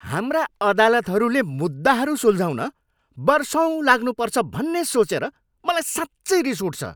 हाम्रा अदालतहरूले मुद्दाहरू सुल्झाउन वर्षौँ लाग्नुपर्छ भन्ने सोचेर मलाई साँच्चै रिस उठ्छ।